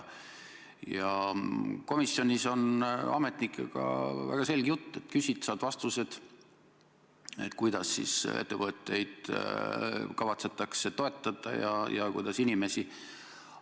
Komisjonis on ametnikega väga selge jutt: küsid ja saad vastused, kuidas siis ettevõtteid kavatsetakse toetada ja kuidas inimesi.